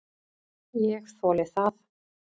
Ég þoli það.